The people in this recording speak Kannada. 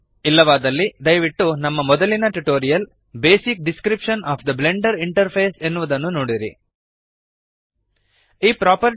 ಇಲ್ಲವಾದಲ್ಲಿ ದಯವಿಟ್ಟು ನಮ್ಮ ಮೊದಲಿನ tutorial basic description of the Blender interface basic description of the Blender interface ಎನ್ನುವುದನ್ನು ನೋಡಿರಿ